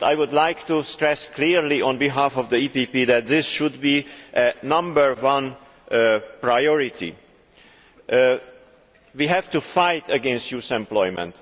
But I would like to stress clearly, on behalf of the EPP, that this should be the number one priority. We have to fight against youth unemployment.